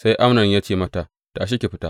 Sai Amnon ya ce mata, Tashi, ki fita!